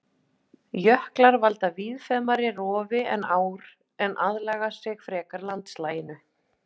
Jöklar valda víðfeðmara rofi en ár en aðlaga sig frekar landslaginu.